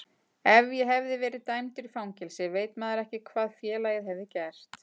Ef ég hefði verið dæmdur í fangelsi veit maður ekki hvað félagið hefði gert.